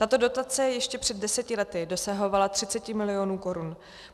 Tato dotace ještě před deseti lety dosahovala 30 mil. korun.